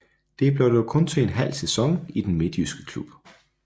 Det blev dog kun til en halv sæson i den midtjyske klub